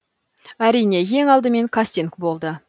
әрине ең алдымен кастинг болды